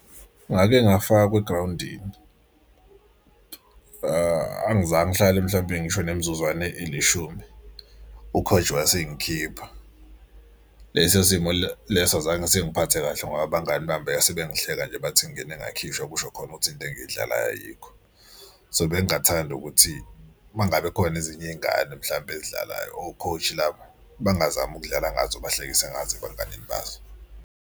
Ngake ngafakwa egrawundini angizange ngihlale mhlawumpe ngisho nemizuzwana elishumi u-coach wasengikhipha. Lesi simo leso azange sengiphathe kahle ngoba abangani bami basebengihleka nje bathi ngingene ngakhishwa kusho khona ukuthi into engiyidlalayo ayikho. So bengingathanda ukuthi uma ngabe khona ezinye iy'ngane mhlampe ezidlalayo o-coach labo bangazami ukudlala ngazo bahlekise ngazo ebanganini bazo.